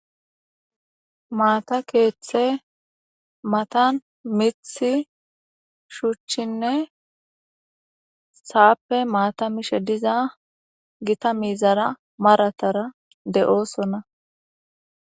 Maata keeththe matan miththi, shuchchinne sa'appe maata miza gita miizara maratara de'osona.